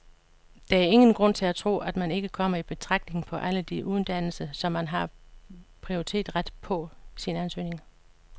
Der er ingen grund til at tro, at man ikke kommer i betragtning på alle de uddannelser, som man har prioriteret på sin ansøgning.